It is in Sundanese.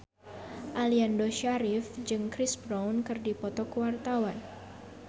Aliando Syarif jeung Chris Brown keur dipoto ku wartawan